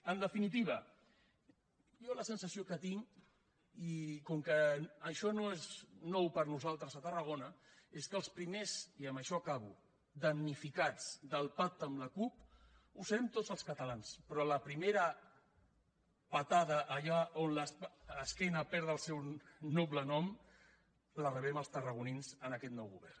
en definitiva jo la sensació que tinc i com que això no és nou per a nosaltres a tarragona és que els primers i amb això acabo damnificats del pacte amb la cup serem tots els catalans però la primera patada allà on l’esquena perd el seu noble nom la rebem els tarragonins amb aquest nou govern